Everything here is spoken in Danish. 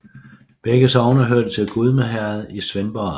Begge sogne hørte til Gudme Herred i Svendborg Amt